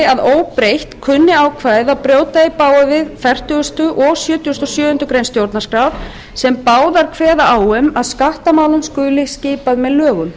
að óbreytt kunni ákvæðið að brjóta í bága við fertugasta og sjötugasta og sjöundu grein stjórnarskrár sem báðar kveða á um að skattamálum skuli skipað með lögum